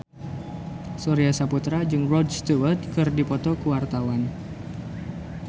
Surya Saputra jeung Rod Stewart keur dipoto ku wartawan